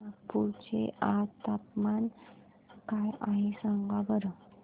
नागपूर चे आज चे तापमान काय आहे सांगा बरं